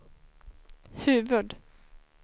huvud-